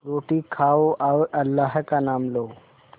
रोटी खाओ और अल्लाह का नाम लो